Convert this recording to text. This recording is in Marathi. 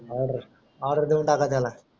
ओर्डर ओर्डर देवून टाका त्याला